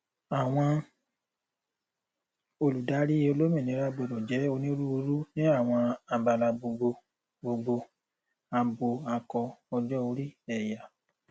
àwọn olùdarí olóminira gbọdọ jẹ ònírúurú ní àwọn àbálá gbogbo gbogbo abọ akọ ọjọorí ẹyà